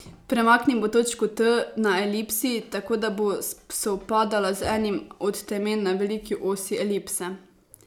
Premaknimo točko T na elipsi tako, da bo sovpadala z enim od temen na veliki osi elipse.